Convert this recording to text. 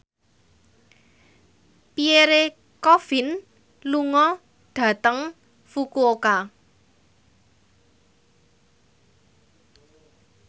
Pierre Coffin lunga dhateng Fukuoka